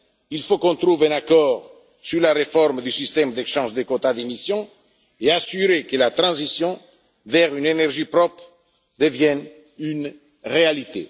Nous devons trouver un accord sur la réforme du système d'échange de quotas d'émission et assurer que la transition vers une énergie propre devienne une réalité.